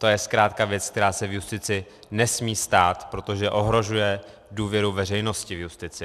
To je zkrátka věc, která se v justici nesmí stát, protože ohrožuje důvěru veřejnosti v justici.